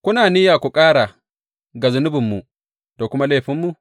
Kuna niyya ku ƙara ga zunubinmu da kuma laifinmu?